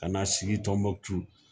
Ka na sigi Tumutu